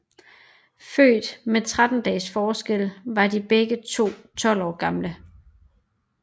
Født med 13 dages forskel var de begge to 12 år gamle